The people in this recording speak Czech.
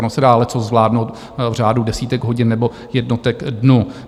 Ono se dá leccos zvládnout v řádu desítek hodin nebo jednotek dnů.